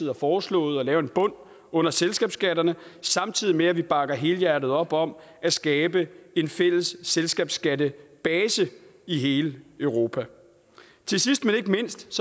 har foreslået at lave en bund under selskabsskatterne samtidig med at vi bakker helhjertet op om at skabe en fælles selskabsskattebase i hele europa sidst men ikke mindst